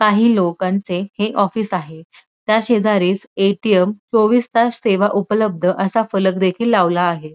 काही लोकांचे हे ऑफिस आहे त्या शेजारी ए.टी.एम. चोवीस तास सेवा उपलब्ध असा फलक देखील लावला आहे.